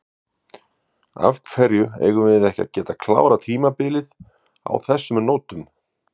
Af hverju eigum við ekki að geta klárað tímabilið á þessum nótum?